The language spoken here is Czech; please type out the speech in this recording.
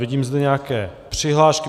Vidím zde nějaké přihlášky.